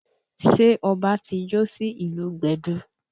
Ṣé ọbá ti jó sí ìlù gbẹ̀du?